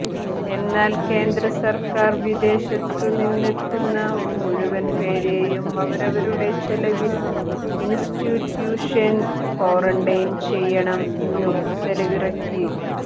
എന്നാൽ കേന്ദ്ര സർക്കാർ വിദേശത്തു നിന്നെത്തുന്ന മുഴുവൻ പേരെയും അവരവരുടെ ചെലവിൽ ഇൻസ്റ്റിറ്റ്യൂഷൻ കോറണ്ടൈൻ ചെയ്യണം എന്ന് ഉത്തരവിറക്കി